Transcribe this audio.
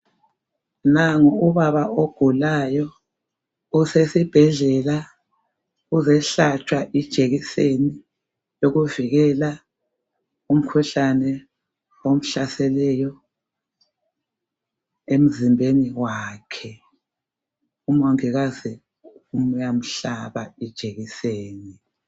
Nangu ubaba ogulayo usesibhedlela uzohlatshwa ijekiseni wokuvikela umkhuhlane omhlaseleyo emzimbeni wakhe umongikazi uyamhlaba ijekiseni